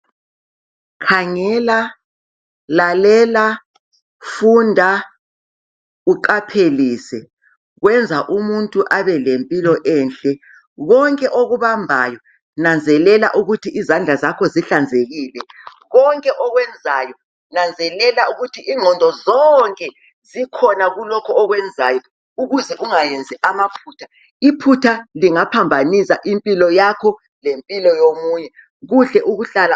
Khangela, lalela funda uqaphelise kwenza ukuthi umuntu abelempilo enhle. Konke okubambayo nanzelela ukuthi izandla zakho zihlanzekile, konke okwenzayo nanzelela ukuthi ingqondo zonke zikhona kulokho okwenzayo ukuze ungenzi amaphutha. Iphutha lingaphambanisa impilo yakho lempilo yomunye.